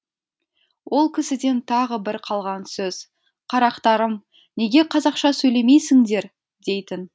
ол кісіден тағы бір қалған сөз қарақтарым неге қазақша сөйлемейсіңдер дейтін